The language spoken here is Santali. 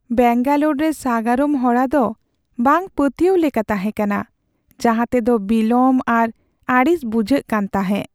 ᱵᱮᱝᱜᱟᱞᱳᱨ ᱨᱮ ᱥᱟᱜᱟᱲᱚᱢ ᱦᱚᱨᱟ ᱫᱚ ᱵᱟᱝ ᱯᱟᱹᱛᱭᱟᱹᱜ ᱞᱮᱠᱟ ᱛᱟᱦᱮᱸᱠᱟᱱᱟ, ᱡᱟᱦᱟᱸᱛᱮ ᱫᱚ ᱵᱤᱞᱚᱢ ᱟᱨ ᱟᱹᱲᱤᱥ ᱵᱩᱡᱷᱟᱹᱜ ᱠᱟᱱ ᱛᱟᱦᱮᱸᱜ ᱾